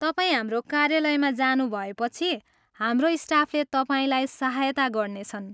तपाईँ हाम्रो कार्यालयमा जानुभएपछि हाम्रो स्टाफले तपाईँलाई सहायता गर्नेछन्।